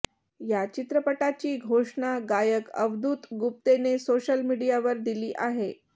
या चित्रपटाची घोषणा गायक अवधूत गुप्तेने सोशल मीडियावर दिली आहे